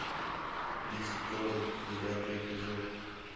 визитеры девятый эпизод